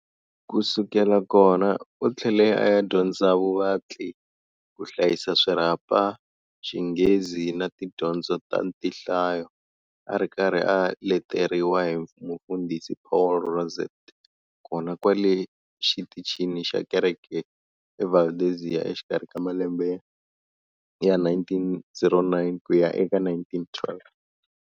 Kusukela kona, u thlele aya dyondza vuvatli, kuhlayisa swirhapa, Xinghezi na Tidyondzo ta tinhlayo, ari karhi a leteriwa hi Mufundhisi Paul Rosset, kona kwale xitichini xa kereke eValdezia exikarhi ka malembe ya 1909 kuya eka 1912.